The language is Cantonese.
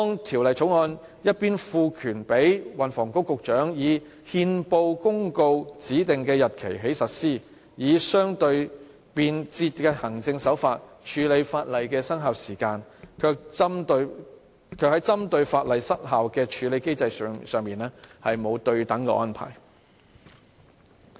《條例草案》一方面賦權運輸及房屋局局長"以憲報公告指定的日期起實施[有關條例]"，以相對便捷的行政手法處理法例的生效時間，但另一方面，卻沒有針對法例失效的處理機制作出對等安排。